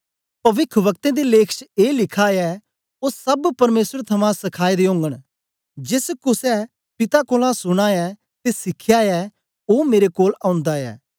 पविखवक्तें दे लेख च ए लिखा ऐ ओ सब परमेसर थमां सखाए दे ओगन जेस कुसे पिता कोलां सुना ऐ ते सिखया ऐ ओ मेरे कोल ओंदा ऐ